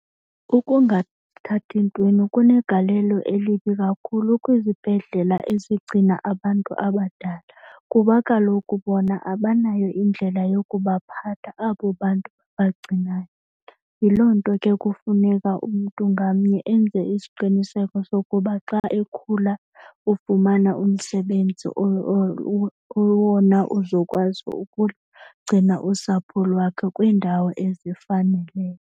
Ukungathathi ntweni kunegalelo elibi kakhulu kwizibhedlela ezigcina abantu abadala kuba kaloku bona abanayo indlela yokubaphatha abo bantu babagcinayo. Yiloo nto kufuneka umntu ngamnye enze isiqiniseko sokuba xa ekhula ufumana umsebenzi owona uzokwazi ukugcina usapho lwakhe kwiindawo ezifaneleyo.